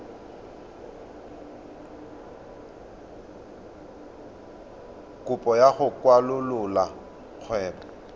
kopo ya go kwalolola kgwebo